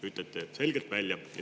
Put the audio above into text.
Ütlesite selle selgelt välja.